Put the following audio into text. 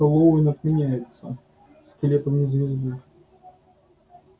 хэллоуин отменяется скелетов не завезли